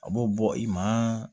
A b'o bɔ i ma